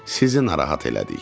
Sizi narahat elədik.